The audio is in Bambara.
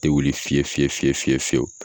Te wuli fiye fiye fiye fiye fiyeu